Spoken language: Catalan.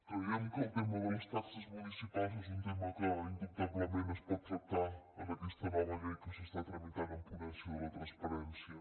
creiem que el tema de les taxes municipals és un tema que indubtablement es pot tractar en aquesta nova llei que s’està tramitant en ponència de la transparència